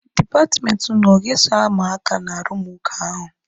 Dipatmenti ụnụ ọ ga-eso ama aka n'arụmụka ahụ?